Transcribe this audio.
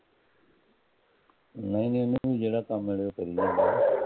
ਨਹੀਂ ਨਹੀਂ ਜਿਹੜਾ ਕੰਮ ਮਿਲੇ ਉਹ ਕਰੀ ਜਾਂਦਾ